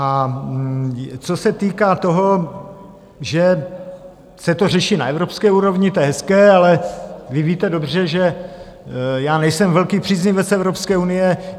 A co se týká toho, že se to řeší na evropské úrovni, to je hezké, ale vy víte dobře, že já nejsem velký příznivec Evropské unie.